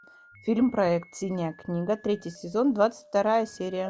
фильм проект синяя книга третий сезон двадцать вторая серия